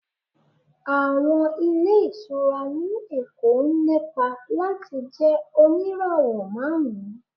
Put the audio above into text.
Àwọn ilé ìtura ní Èkó ń lépa láti jẹ oníràwọ̀ márùn-ún.